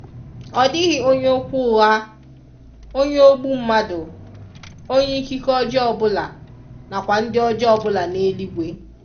ọdighi onye okwu ụgha, onye ogbu mmadụ, onye ikike ọjọọ ọbụla, na kwa ndị ọjọọ ọbụla n'eluigwe.